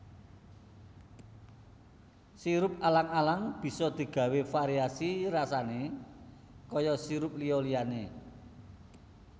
Sirup alang alang bisa digawé variasi rasané kaya sirup liya liyané